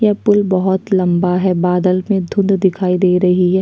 ये पूल बहुत लंबा है बादल में धुन्‍ध दिखाई दे रही हैं।